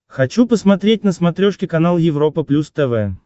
хочу посмотреть на смотрешке канал европа плюс тв